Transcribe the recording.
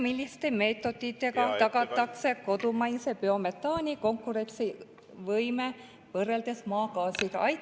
Milliste meetoditega tagatakse kodumaise biometaani konkurentsivõime võrreldes maagaasiga?